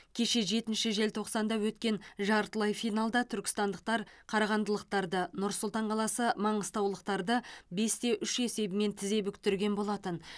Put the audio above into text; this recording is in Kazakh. кеше жетінші желтоқсанда өткен жартылай финалда түркістандықтар қарағандылықтарды нұр сұлтан қаласы маңғыстаулықтарды бес те үш есебімен тізе бүктірген болатын